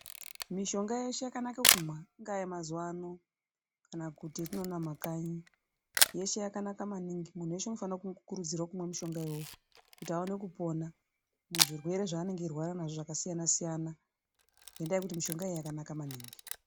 Mishonga yeshe yakanaka kumwa ingaa yemazuwaano kana yatinoona mumakanyi yeshe yakanaka maningi munthu weshe unofanira kukurudzirwe kumwa mushonga uyu kuti aone kupona muzvirwere zvaanenge eirwara nazvo zvakasiyana siyana nekuti mishonga iyi yakanaka maningi.